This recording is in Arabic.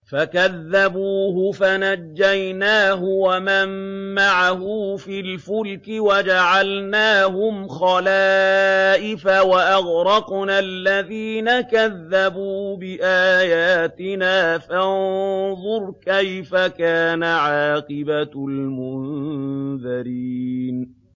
فَكَذَّبُوهُ فَنَجَّيْنَاهُ وَمَن مَّعَهُ فِي الْفُلْكِ وَجَعَلْنَاهُمْ خَلَائِفَ وَأَغْرَقْنَا الَّذِينَ كَذَّبُوا بِآيَاتِنَا ۖ فَانظُرْ كَيْفَ كَانَ عَاقِبَةُ الْمُنذَرِينَ